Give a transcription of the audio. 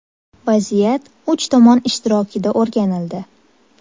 Vaziyat uch tomon ishtirokida o‘rganildi.